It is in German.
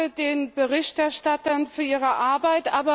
Ich danke den Berichterstattern für ihre Arbeit.